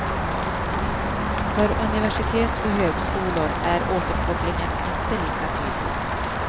För universitet och högskolor är återkopplingen inte lika tydlig.